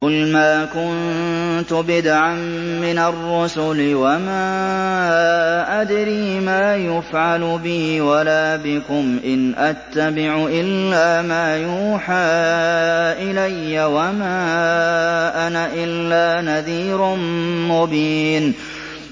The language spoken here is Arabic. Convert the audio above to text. قُلْ مَا كُنتُ بِدْعًا مِّنَ الرُّسُلِ وَمَا أَدْرِي مَا يُفْعَلُ بِي وَلَا بِكُمْ ۖ إِنْ أَتَّبِعُ إِلَّا مَا يُوحَىٰ إِلَيَّ وَمَا أَنَا إِلَّا نَذِيرٌ مُّبِينٌ